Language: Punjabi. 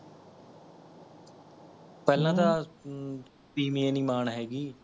ਪਹਿਲਾਂ ਤਾਂ ਹਮਮ ਤੀਵੀਂਆ ਨਹੀ ਮਾਣ ਹੈਗੀ